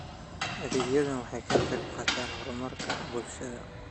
Adeegyadani waxay ka qayb qaataan horumarka bulshada.